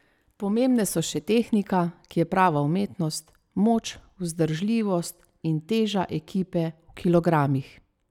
Pomembne so še tehnika, ki je prava umetnost, moč, vzdržljivost in teža ekipe v kilogramih.